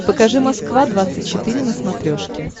покажи москва двадцать четыре на смотрешке